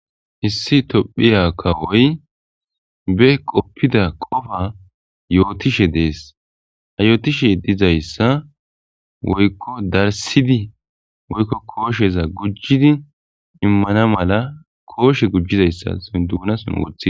hissi tophiya kawoy be qoppida qofa yootishe dees hayotishe dizayssa woykko darsidi woykko koosheza gujjidi immana mala kooshe gujjizayssa sonduunason wothii